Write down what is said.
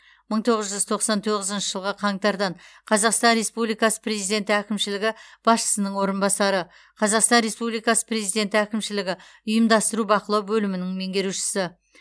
мың тоғыз жүз тоқсан тоғызыншы жылғы қаңтардан қазақстан республикасы президенті әкімшілігі басшысының орынбасары қазақстан республикасы президенті әкімшілігі ұйымдастыру бақылау бөлімінің меңгерушісі